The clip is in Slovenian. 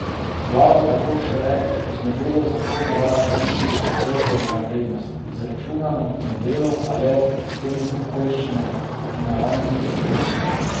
Vlada tako šele z novelo v zakon uvaja pravico do pritožbe na vrednost, izračunano po modelu, a le ob posebnih okoliščinah in naravnih nesrečah.